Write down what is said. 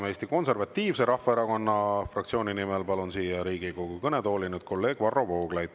Eesti Konservatiivse Rahvaerakonna fraktsiooni nimel palun siia Riigikogu kõnetooli, kolleeg Varro Vooglaid.